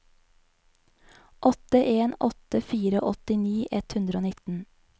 åtte en åtte fire åttini ett hundre og nitten